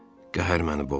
Qəhər məni boğdu.